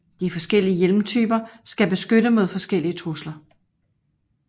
De forskellige hjelmtyper skal beskytte mod forskellige trusler